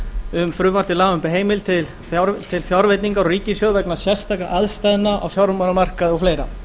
um frumvarp til laga um heimild til fjárveitingar úr ríkissjóði vegna sérstakra aðstæðna á fjármálamarkaði og fleiri